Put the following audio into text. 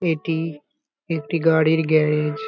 এটি একটি গাড়ির গ্যারেজ ।